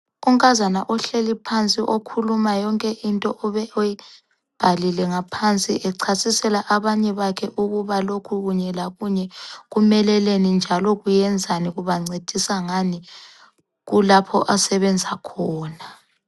Unkazana ohleli phansi okhuluma yonke into obe eyibhalile ngaphansi echasisela abanye bakhe ukuba lokhu kunye lakunye kumeleleni njalo kuyenzani ,kubancedisa ngani kulapho asebenza khona.